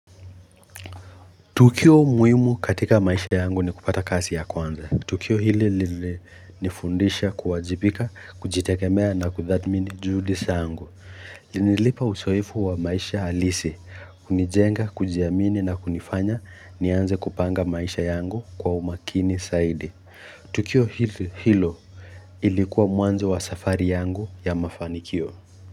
Tukio muhimu katika maisha yangu ni kupata kazi ya kwanza. Tukio hili lilinifundisha kuwajibika, kujitegemea na kuthatmini juhudi zangu. Linilipa uzoefu wa maisha halisi, kunijenga, kujiamini na kunifanya nianze kupanga maisha yangu kwa umakini zaidi. Tukio hili hilo ilikuwa mwanzo wa safari yangu ya mafanikio.